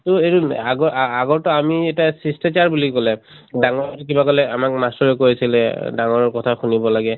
তʼ আগৰ আ আগৰ টো আমি এটা চিচ্তাচাৰ বুলি কলে, ডাঙৰ কিবা কলে আমাৰ মাষ্টৰে কৈছিলে এহ ডাঙৰৰ কথা শুনিব লাগে।